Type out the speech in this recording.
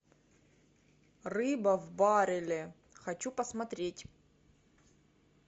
рыба в барреле хочу посмотреть